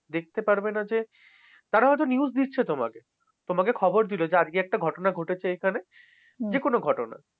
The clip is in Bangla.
দেখতে পারবে না যে, তারা হয়তো news দিচ্ছে তোমাকে। তোমাকে খবর দিল যে আজকে একটা ঘটনা ঘটেছে এইখানে, যেকোন ঘটনা।